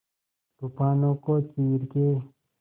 तूफानों को चीर के